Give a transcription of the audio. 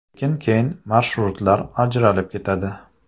Lekin keyin marshrutlar ajralib ketadi.